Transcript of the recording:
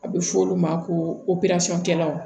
A bɛ fɔ olu ma ko kɛlaw